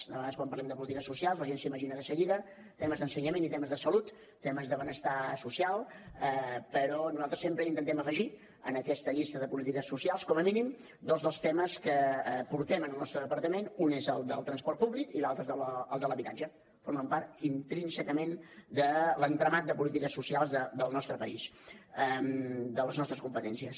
de vegades quan parlem de polítiques socials la gent s’imagina de seguida temes d’ensenyament i temes de salut temes de benestar social però nosaltres sempre intentem afegir a aquesta llista de polítiques socials com a mínim dos dels temes que portem en el nostre departament un és el del transport públic i l’altre és el de l’habitatge que formen part intrínsecament de l’entramat de polítiques socials del nostre país de les nostres competències